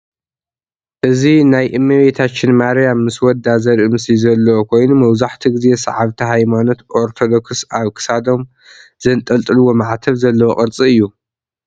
እዚ ናይ እመቤታችን ማርያም ምስ ወዳ ዘርኢ ምስሊ ዘለዎ ኮይኑ መብዘሐትኡ ግዜ ሰዓብቲ ሃይማኖት ኦርቶዶክስ አብ ክሳዶም ዛንጠልጥልዎ ማዕተብ ዘለዎ ቅርፂ እዩ።